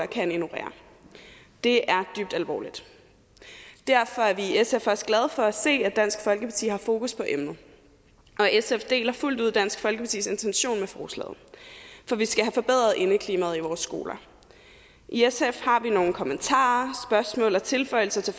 kan ignorere det er dybt alvorligt derfor er vi i sf også glade for at se at dansk folkeparti har fokus på emnet og sf deler fuldt ud dansk folkepartis intention med forslaget for vi skal have forbedret indeklimaet i vores skoler i sf har vi nogle kommentarer spørgsmål og tilføjelser til